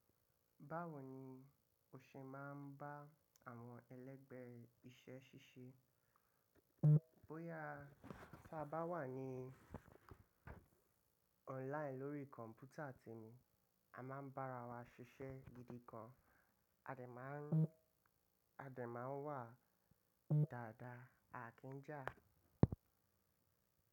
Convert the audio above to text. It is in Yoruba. Báwo ni o ṣe máa ń bá àwọn ẹlẹgbẹ́ rẹ iṣẹ́ ṣíṣe? Bóyá tí a bá wà ní online lórí kọ̀m̀pútà tè mi, a máa ń bára wa ṣiṣẹ́ gidi kan. A dè má ń, a dè má ń wà dáadáa, à kí ń jà.